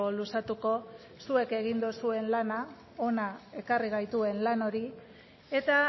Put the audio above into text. luzatuko zuek egin duzuen lana hona ekarri gaituen lan hori eta